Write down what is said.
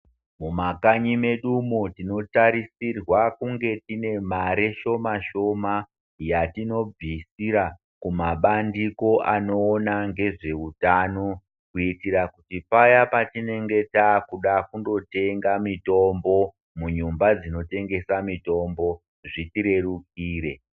Mumakanyi medumwo tinotarisirwe kunge tine mari shoma shoma yatinobvisira kumabandiko anoona ngezveutano kuitira kuti paya patinenge takuda kundotenga mitombo munyumba dzinotengesa mitombo zvitirerukire.